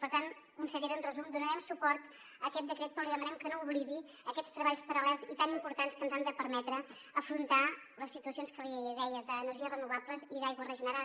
per tant consellera en resum donarem suport a aquest decret però li demanem que no oblidi aquests treballs paral·lels i tan importants que ens han de permetre afrontar les situacions que li deia d’energies renovables i d’aigua regenerada